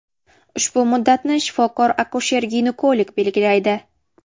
Ushbu muddatni shifokor akusher-ginekolog belgilaydi.